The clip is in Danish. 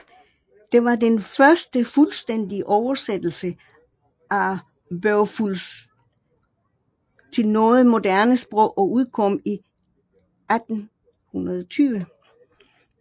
Det var den første fuldstændige oversættelse af Beowulf til noget moderne sprog og udkom i 1820